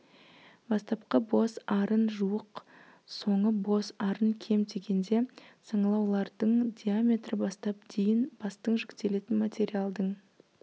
бастапқы бос арын жуық соңы бос арын кем дегенде саңылаулардың диаметрі бастап дейін бастың жүктелетін материалдың